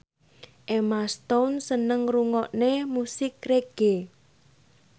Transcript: Emma Stone seneng ngrungokne musik reggae